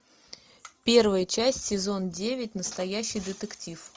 первая часть сезон девять настоящий детектив